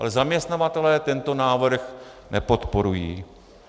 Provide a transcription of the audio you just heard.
Ale zaměstnavatelé tento návrh nepodporují.